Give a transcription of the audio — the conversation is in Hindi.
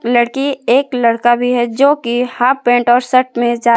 लड़की एक लड़का भी है जो की हाफ पैंट और शर्ट में जा--